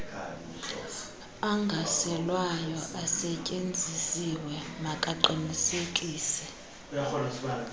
angaselwayo ayesetyenzisiwe makaqinisekise